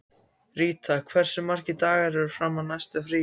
Ríta, hversu margir dagar fram að næsta fríi?